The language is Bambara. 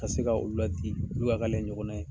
Ka se ka olu ladi , olu ka k'ale ɲɔgɔnna ye.